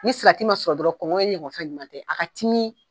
Ni salati ma sɔrɔ dɔrɔn ɲɔgɔn fɛn ɲuman tɛ, a ka timi